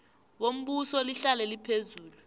bombuso lihlale liphezulu